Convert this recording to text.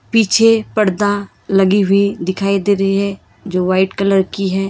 पीछे पर्दा लगी हुई दिखाई दे रही है जो व्हाइट कलर की है।